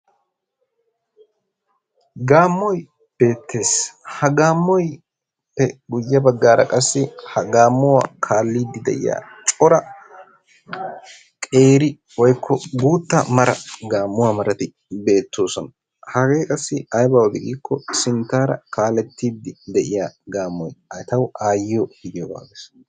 Gaammoy beettes. Ha gaammuwaappe guyye baggaara qassi ha gaammuwa kaallidi de"iya cora qeeri woyikko guutta mara gaammuwa marati beettoosona. Hagee qassi aybaa odii giikko sinttaara kaalettiiddi de"iyaa gaammoy etawu aayyiyo gidiyogaa bessees.